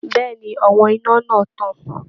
Bẹ́ẹ̀ ni àwọn iná náà tàn